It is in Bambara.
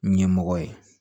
Ɲɛmɔgɔ ye